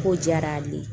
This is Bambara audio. Ko diyara ale ye